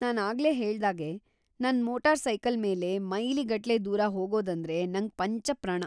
ನಾನ್ ಆಗ್ಲೇ ಹೇಳ್ದಾಗೆ, ನನ್‌ ಮೋಟಾರ್‌ಸೈಕಲ್‌ ಮೇಲೆ ಮೈಲಿಗಟ್ಲೆ ದೂರ ಹೋಗೋದಂದ್ರೆ ನಂಗ್‌ ಪಂಚಪ್ರಾಣ.